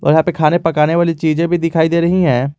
यहां पे खाने पकाने वाली चीजें भी दिखाई दे रही है।